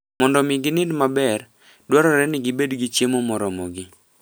Mondo omi ginind maber, dwarore ni gibed gi chiemo moromogi.